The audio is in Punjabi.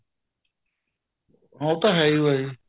ਉਹ ਤਾਂ ਏਹ ਹੋ ਏਹ